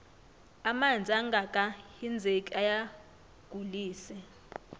amanzi angaka hinzeki ayagulise